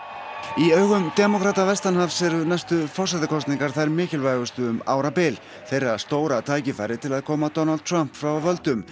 í augum demókrata vestanhafs eru næstu forsetakosningar þær mikilvægustu um árabil þeirra stóra tækifæri til að koma Donald Trump frá völdum